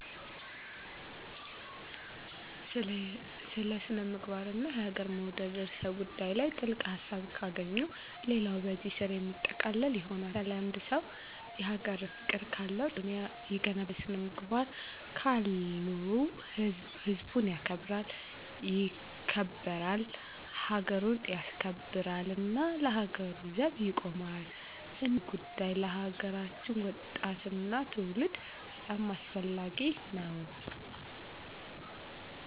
ስለ ስነ-ምግባርና የሀገርን መውደድ ርዕሰ ጉዳይ ላይ ጥልቅ ሀሳብ ካገኙ ሌላው በዚሕ ስር የሚጠቃለል ይሆናል። ለምሣሌ፦ አንድ ሰው የሀገር ፍቅር ካለው ጠንክሮ ይሠራል ሀገሩን ይገነባል ያበለፅጋል፣ ስነ-ምግባር ካለው ህዝቡን ያከብራል ይገበራል፣ ሀገሩን ያስከብራልና ለሀገሩ ዘብ ይቆማል እና ይሕ ጉዳይ ለሀገራችን ወጣትና ትውልድ በጣም አስፈላጊ ነው።